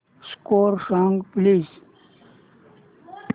score सांग please